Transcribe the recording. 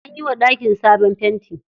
An yiwa ɗakin sabon fenti.